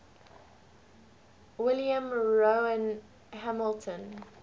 william rowan hamilton